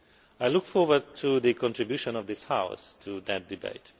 I look forward to the contribution of this House to that debate.